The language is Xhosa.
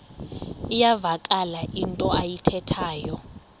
iyavakala into ayithethayo